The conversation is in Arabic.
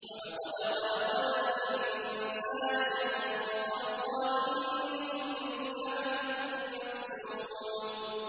وَلَقَدْ خَلَقْنَا الْإِنسَانَ مِن صَلْصَالٍ مِّنْ حَمَإٍ مَّسْنُونٍ